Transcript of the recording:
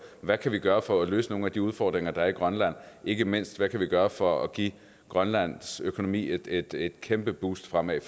hvad vi kan gøre for at løse nogle af de udfordringer der er i grønland ikke mindst hvad vi kan gøre for at give grønlands økonomi et kæmpe boost fremad